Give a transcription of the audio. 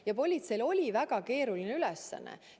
Ja politseil oli väga keeruline ülesanne.